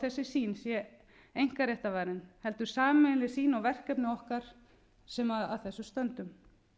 á að þessi sýn sé einkaréttarvarin heldur sameiginleg sýn á verkefni okkar sem að þessu stöndum